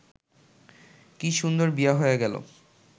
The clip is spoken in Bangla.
কি সুন্দর বিয়া হইয়া গেল